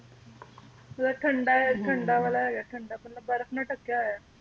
ਮਤਲਬ ਠੰਡਾ ਹੈ ਠੰਡਾ ਬਾਲਾ ਹੈਗਾ ਠੰਡਾਂ ਮਤਲਬ ਬਰਫ਼ ਨਾਲ ਢਕਿਆ ਹੋਇਆ